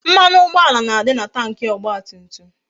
Mmanụ ụgbọala na-adị na Tanki ọgba tum tum